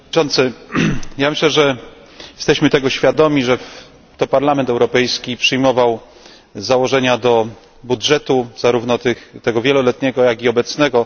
Panie Przewodniczący! Myślę, że jesteśmy tego świadomi, że to Parlament Europejski przyjmował założenia do budżetu zarówno tego wieloletniego, jak i obecnego.